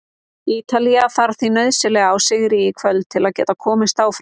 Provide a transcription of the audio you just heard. Ítalía þarf því nauðsynlega á sigri í kvöld til að geta komist áfram.